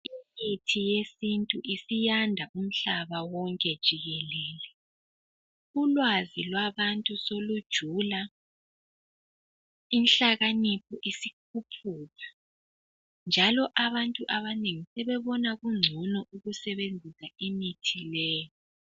Imithi yesintu isiyanda umhlaba wonke jikelele, ulwazi lwabantu solujula inhlakanipho isikhuphuka njalo abantu abanengi sebebona kungcono usebenzisa imithi le.